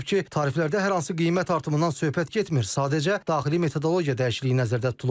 Qeyd olunub ki, tariflərdə hər hansı qiymət artımından söhbət getmir, sadəcə daxili metodologiya dəyişikliyi nəzərdə tutulub.